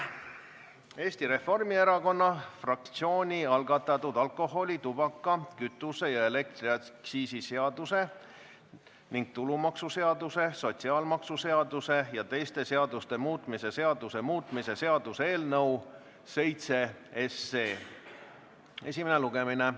Eesti Reformierakonna fraktsiooni algatatud alkoholi-, tubaka-, kütuse- ja elektriaktsiisi seaduse ning tulumaksuseaduse, sotsiaalmaksuseaduse ja teiste seaduste muutmise seaduse muutmise seaduse eelnõu 7 esimene lugemine.